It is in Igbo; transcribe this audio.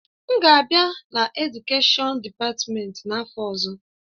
M ga-abịa na Edukèshọn dịpatmenti n'afọ ọzọ.